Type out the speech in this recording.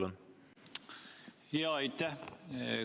Jaa, aitäh!